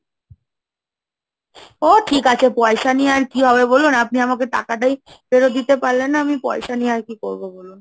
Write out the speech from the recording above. ও ঠিক আছে, পয়সা নিয়ে আর কি হবে বলুন, আপনি আমাকে টাকাটাই ফেরত দিতে পারলেন না, আমি পয়সা নিয়ে আর কি করবো বলুন?